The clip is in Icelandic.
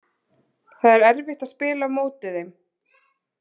Það er erfitt að spila á móti þeim.